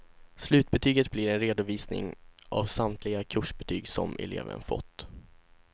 Slutbetyget blir en redovisning av samtliga kursbetyg som eleven fått.